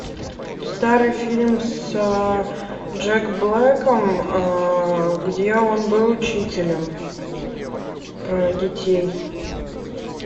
старый фильм с джек блэком где он был учителем про детей